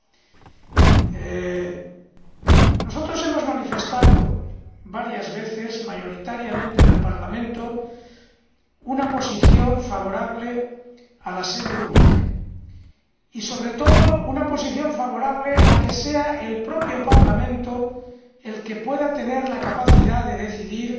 En el Parlamento hemos manifestado varias veces mayoritariamente una posición favorable a la sede única y, sobre todo, una posición favorable a que sea el propio Parlamento el que pueda tener la capacidad de decidir